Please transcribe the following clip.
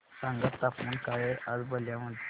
सांगा तापमान काय आहे आज बलिया मध्ये